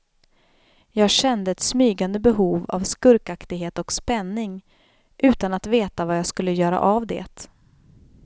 Jag kände ett smygande behov av skurkaktighet och spänning, utan att veta vad jag skulle göra av det.